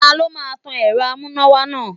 Ta ló máa tan èrò amúnáwá náà.